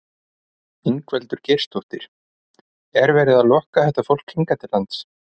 Ingveldur Geirsdóttir: Er verið að lokka þetta fólk hingað til lands?